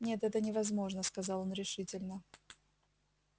нет это невозможно сказал он решительно